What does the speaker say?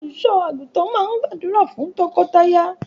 Olùṣọ́-àgùntàn náà gbàdúrà fún tọkọtaya.